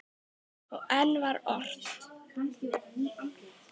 Og enn var ort.